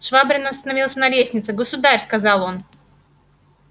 швабрин остановился на лестнице государь сказал он